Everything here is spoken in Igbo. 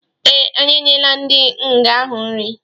Ee, anyi enyela ndi nga-ahu nri